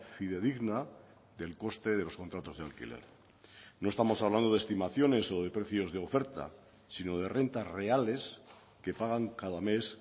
fidedigna del coste de los contratos de alquiler no estamos hablando de estimaciones o de precios de oferta sino de rentas reales que pagan cada mes